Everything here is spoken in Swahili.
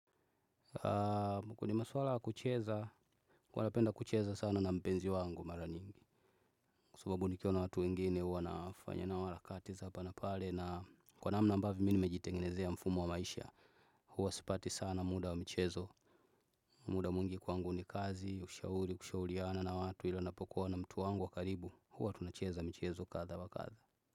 Kwenye maswala ya kucheza, huwa napenda kucheza sana na mpenzi wangu mara nyingi. Kwa sababu nikiwa na watu wengine huwa nafanya nao harakati za hapa na pale. Na kwa namna ambavyo mi nimejitengenezea mfumo wa maisha huwa sipati sana muda wa michezo muda mwingi kwangu ni kazi ushauri kushauriana na watu ila ninapokuwa na mtu wangu wa karibu huwa tunacheza michezo kadha na kadha.